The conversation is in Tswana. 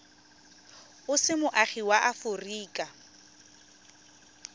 o se moagi wa aforika